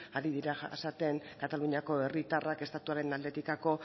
ari dira jasaten kataluniako herritarrak estatuaren aldetik